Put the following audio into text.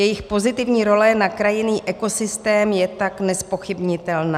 Jejich pozitivní role na krajinný ekosystém je tak nezpochybnitelná.